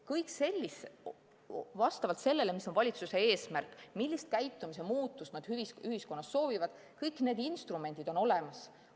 Vastavalt sellele, mis on valitsuse eesmärk, millist käitumise muutust nad ühiskonnas soovivad, kõik need instrumendid on olemas.